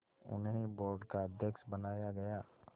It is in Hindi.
उन्हें बोर्ड का अध्यक्ष बनाया गया